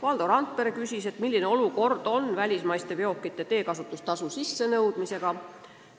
Valdo Randpere küsis, mis seis välismaiste veokite teekasutustasu sissenõudmisel valitseb.